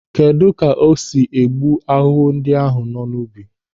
Kedụ ka ọ ga-esi gbuo ahụhụ ndị nọ n'ubi?